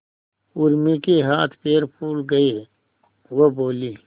उर्मी के हाथ पैर फूल गए वह बोली